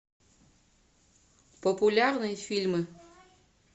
популярные фильмы